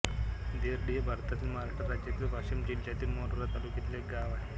देर्डी हे भारतातील महाराष्ट्र राज्यातील वाशिम जिल्ह्यातील मानोरा तालुक्यातील एक गाव आहे